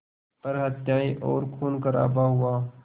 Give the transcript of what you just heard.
पर हत्याएं और ख़ूनख़राबा हुआ